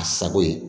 A sago ye